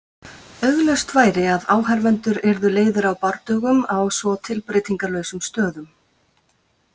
Augljóst væri að áhorfendur yrðu leiðir á bardögum á svo tilbreytingarlausum stöðum.